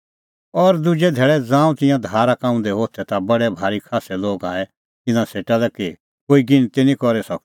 और दुजै धैल़ै ज़ांऊं तिंयां धारा का उंधै होथै ता बडै भारी खास्सै लोग आऐ तिन्नां सेटा लै कि कोई गिणती निं करी सकदै